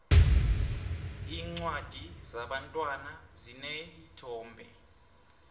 iincwadi zebantwana zineenthombe